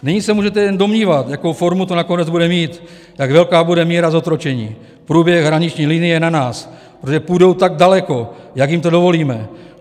Nyní se můžete jen domnívat, jakou formu to nakonec bude mít, jak velká bude míra zotročení, průběh hraniční linie na nás, protože půjdou tak daleko, jak jim to dovolíme.